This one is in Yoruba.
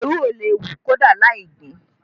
Ewúro lè hù kódà lai gbìn ín